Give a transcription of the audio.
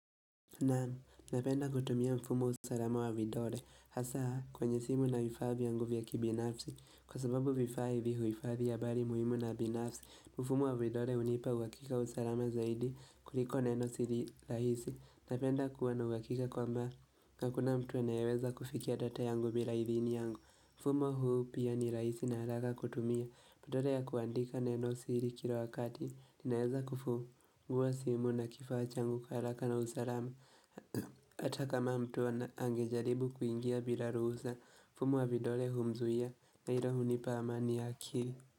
Naam, napenda kutumia mfumo usalama wa vidole, hasa kwenye simu na vifaa vyangu vya kibinafsi kwa sababu vifaa hivi huhifadhi habari muhimu na binafsi. Mfumo wa vidole hunipa uhakika wa usalama zaidi kuliko neno siri rahisi, napenda kuwa na uhakika kwamba, Hakuna mtu anayeweza kufikia data yangu bila idhini yangu. Mfumo huu pia ni rahisi na haraka kutumia. Badala ya kuandika neno siri kila wakati. Ninaweza kufungua simu na kifaa changu kwa haraka na usalama. Hata kama mtu angejaribu kuingia bila ruhusa. Mfumo wa vidole humzuia. Na hilo hunipa amani ya akili.